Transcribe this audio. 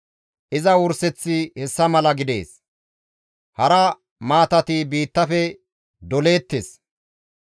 Iza wurseththi hessa mala gidees; hara maatati biittafe doleettes.